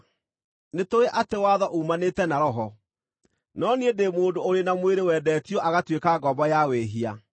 Nĩtũũĩ atĩ watho uumanĩte na Roho; no niĩ ndĩ mũndũ ũrĩ na mwĩrĩ wendetio agatuĩka ngombo ya wĩhia.